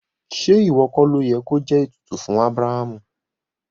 Ṣe iwọ kọ lóyè ki o jẹ ètùtù fún Abrahamu?